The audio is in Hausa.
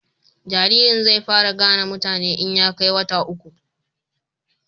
jaririn zai fara gane mutane in ya kai wata uku